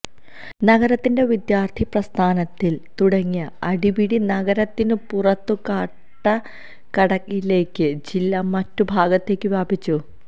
നഗരത്തിൽ വിദ്യാർത്ഥി പ്രസ്ഥാനത്തിൽ തുടങ്ങിയ അടിപിടി നഗരത്തിനു പുറത്തു കാട്ടാക്കടയിലേക്കും ജില്ലയുടെ മറ്റു ഭാഗത്തേക്കും വ്യാപിച്ചു